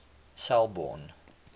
selborne